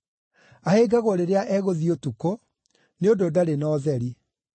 Ahĩngagwo rĩrĩa egũthiĩ ũtukũ, nĩ ũndũ ndarĩ na ũtheri.”